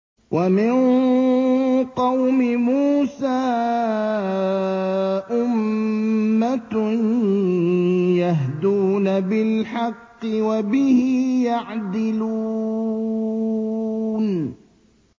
وَمِن قَوْمِ مُوسَىٰ أُمَّةٌ يَهْدُونَ بِالْحَقِّ وَبِهِ يَعْدِلُونَ